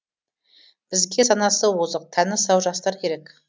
бізге санасы озық тәні сау жастар керек